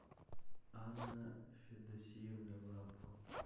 анна федосеевна лапко